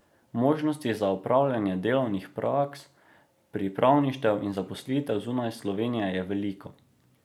Možnosti za opravljanje delovnih praks, pripravništev in zaposlitev zunaj Slovenije je veliko.